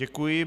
Děkuji.